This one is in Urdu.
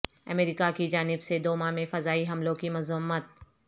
امریکہ کی جانب سے دوما میں فضائی حملوں کی مذمت